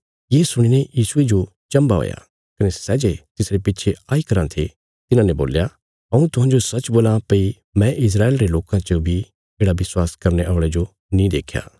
ये सुणीने यीशुये जो चम्भा हुया कने सै जे तिसरे पिच्छे आई कराँ थे तिन्हांने बोल्या हऊँ तुहांजो सच्च बोलां भई मुझे इस्राएल देश में इक बी येढ़ा माहणु नीं मिलया सै जे गैरयहूदी माहणुए साई माह पर भरोसा करां